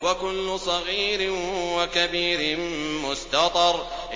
وَكُلُّ صَغِيرٍ وَكَبِيرٍ مُّسْتَطَرٌ